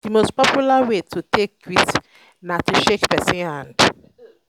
di most popular way to um take greet na to shake person hand